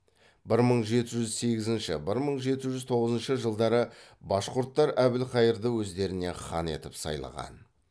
бір мың жеті жүз сегізінші бір мың жеті жүз тоғызыншы жылдары башқұрттар әбілқайырды өздеріне хан етіп сайлаған